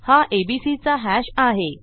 हा एबीसी चा हॅश आहे